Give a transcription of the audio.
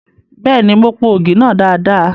Bẹ́ẹ̀ni, mo po ògì náà dada.